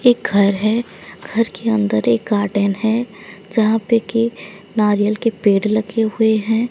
एक घर है घर के अंदर एक गार्डन है जहां पे की नारियल के पेड़ लगे हुए हैं।